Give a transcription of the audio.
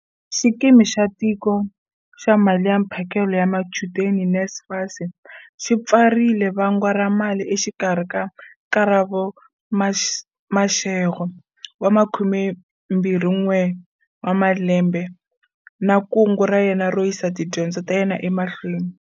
Xikimi xa Tiko xa Mali ya Mphalalo wa Machudeni, NSFAS, xi pfarile va ngwa ra mali exikarhi ka Karabo Mashego, 21, na kungu ra yena ro yisa tidyondzo ta yena ema hlweni.